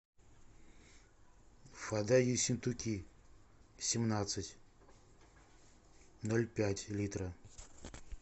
вода ессентуки семнадцать ноль пять литра